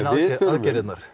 aðgerðirnar